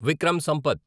Vikram Sampath